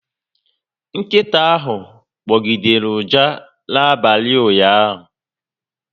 Nkịta ahụ gbọgidere ụja n'abalị ụnyaahụ